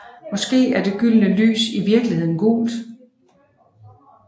Måske er det gyldne lys i virkeligheden gult